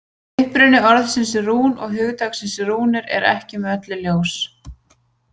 Uppruni orðsins rún og hugtaksins rúnir er ekki með öllu ljós.